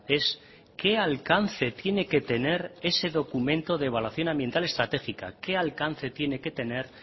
es qué alcance tiene que tener ese documento de evaluación ambiental estratégica qué alcance tiene que tener